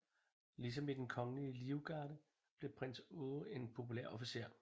Ligesom i Den Kongelige Livgarde blev prins Aage en populær officer